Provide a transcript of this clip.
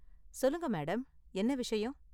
சொல்லுங்க மேடம், என்ன விஷயம்?